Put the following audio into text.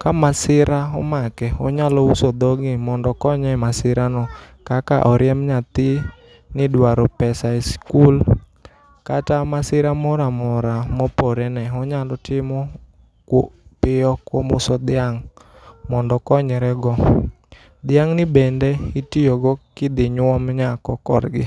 kamasira omake onyalo uso dhogi mondo okonye masira no kaka oriemb nyathi ni idwaro pesa e sikul. Kata masira moro amora mopore ne onyalo timo piyo kuom uso dhiang' mondo konyrego. Dhiang' ni bende itiyogo gidhi nyuom nyako korgi.